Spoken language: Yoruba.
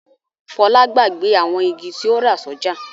Fọlá gbàgbé àwọn igi tí ó rà sọ́jà.